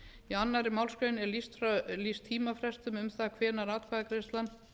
í annarri málsgrein er lýst tímafrestum um það hvenær atkvæðagreiðslan